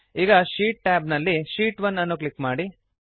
ಈಗ sheet tab ನಲ್ಲಿ sheet 1 ಅನ್ನು ಕ್ಲಿಕ್ ಮಾಡಿ